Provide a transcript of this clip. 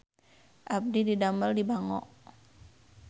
Abdi didamel di Bango